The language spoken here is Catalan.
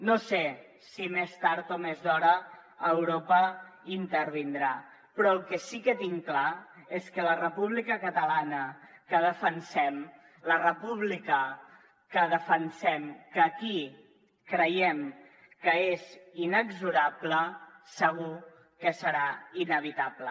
no sé si més tard o més d’hora europa intervindrà però el que sí que tinc clar és que la república catalana que defensem la república que defensem que aquí creiem que és inexorable segur que serà inevitable